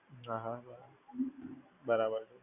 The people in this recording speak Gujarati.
હા હા, બરાબર છે.